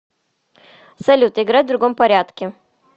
салют играть в другом порядке